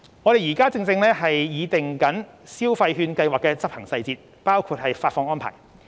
我們正擬訂消費券計劃的執行細節，包括發放安排。